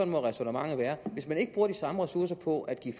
må ræsonnementet være hvis man ikke bruger de samme ressourcer på at give